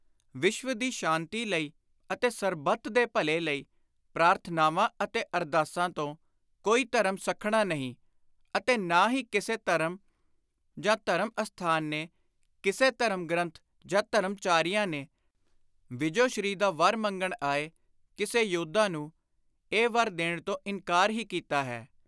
ਵਿਸ਼ਵ ਦੀ ਸ਼ਾਂਤੀ ਲਈ ਅਤੇ ਸਰਬੱਤ ਦੇ ਭਲੇ ਲਈ ਪ੍ਰਾਰਥਨਾਵਾਂ ਅਤੇ ਅਰਦਾਸਾਂ ਤੋਂ ਕੋਈ ਧਰਮ ਸੱਖਣਾ ਨਹੀਂ ਅਤੇ ਨਾ ਹੀ ਕਿਸੇ ਧਰਮ ਜਾਂ ਧਰਮ ਅਸਥਾਨ ਨੇ, ਕਿਸੇ ਧਰਮ ਗ੍ਰੰਥ ਜਾਂ ਧਰਮਾਚਾਰੀਆਂ ਨੇ, ਵਿਜੋ ਸ਼੍ਰੀ ਦਾ ਵਰ ਮੰਗਣ ਆਏ ਕਿਸ਼ੇ ਯੋਧਾ ਨੂੰ ਇਹ ਵਰ ਦੇਣ ਤੋਂ ਇਨਕਾਰ ਹੀ ਕੀਤਾ ਹੈ।